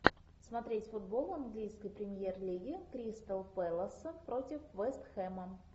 смотреть футбол английской премьер лиги кристал пэласа против вест хэма